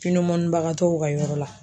Pinimunibagatɔw ka yɔrɔ la